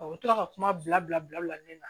u tora ka kuma bila bila bila bila ni na